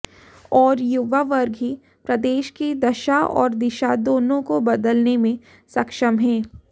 और युवा वर्ग ही प्रदेश की दशा और दिशा दोनो को बदलने में सक्षम है